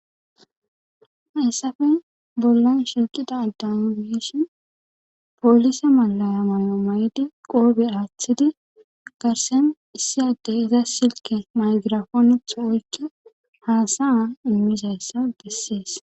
Hayssafe bollan shiuqida addan wiishin poolise malaya mayo may'di qoobe aaththidi garsen issiyaddey iza silke maygirafoonetha oykke haasa a immizayssa bessees.